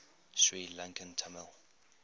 sri lankan tamil